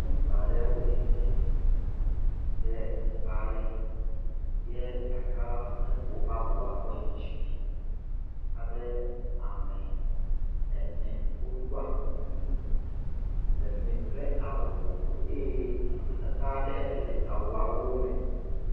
Ŋutsu aɖe wotsitre ɖe teƒe aɖe ye ɖaka la ƒo woƒe abo la kɔ yi dzime ye abe ame ene woɖɔa kuku le fi mi kple awu vovovowo, eye nɔnɔmetata ɖe le awuawo me.